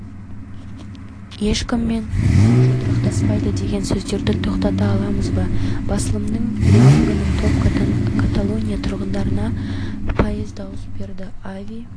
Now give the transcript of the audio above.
әрі бұл жаһанның тыныштығы мен қауіпсізігі үшін де маңызды ал реформаға қатысты нью-йорк тұрғындарының пікірі